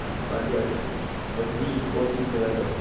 молодец возьми с полки пирожок